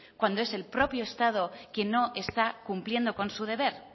cuando es el propio estado quien no está cumpliendo con su deber